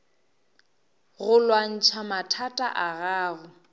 go lwantšha mathata a gago